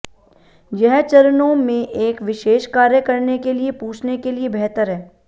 यह चरणों में एक विशेष कार्य करने के लिए पूछने के लिए बेहतर है